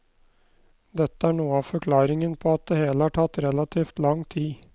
Dette er noe av forklaringen på at det hele har tatt relativt lang tid.